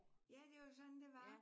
Ja det var jo sådan det var